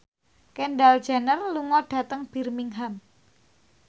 Kendall Jenner lunga dhateng Birmingham